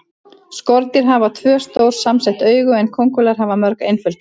Skordýr hafa tvö, stór samsett augu en kóngulær hafa mörg, einföld augu.